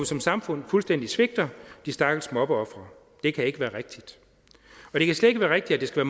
som samfund fuldstændig svigter de stakkels mobbeofre det kan ikke være rigtigt og det kan slet ikke være rigtigt at det skal